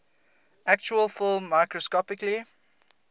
actual film microscopically